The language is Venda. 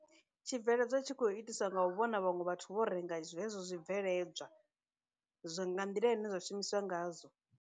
Tshibveledzwa tshi khou itiswa nga u vhona vhaṅwe vhathu vho renga zwezwo zwibveledzwa, zwi nga nḓila ine zwa shumiswa ngazwo.